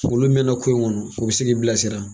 Olu mɛna ko in kɔnɔ, u be se k'i bilasira.